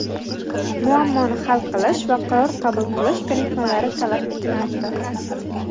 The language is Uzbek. muammoni hal qilish va qaror qabul qilish ko‘nikmalari talab etilmoqda.